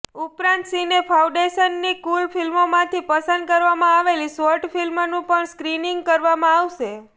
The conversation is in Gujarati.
ઉપરાંત સિને ફાઉન્ડેશનની કુલ ફિલ્મોમાંથી પસંદ કરવામાં આવેલી શોર્ટ ફિલ્મનું પણ સ્ક્રીનિંગ કરવામાં આવશે